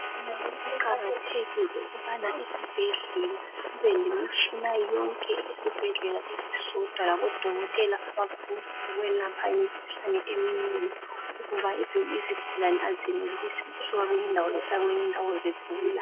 kuqakathekile ukubana esibhedlela sibe lemitshina yonke esibhedlela esisodwa labodokotela abakwanisa ukwelapha imikhuhlane eminengi ngoba ezinye izigulane azenelisi ukusuka kwenye indawo zisiya kwenye indawo zigula.